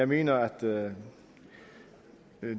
mener jeg at